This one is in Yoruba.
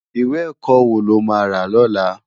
Iwé èkò wó ló má rá lòlá?